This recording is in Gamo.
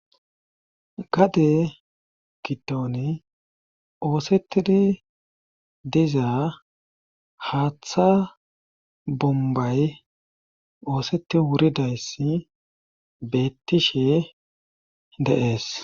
gade gidoni oosetidi dizaa haaththa bombay ooseti wuridayssi beettishe dee'es